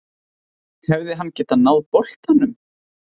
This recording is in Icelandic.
Hefði hann getað náð boltanum?